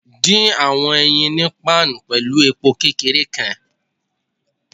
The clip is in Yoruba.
Fẹ awọn eyin ni pan pẹlu epo kekere kan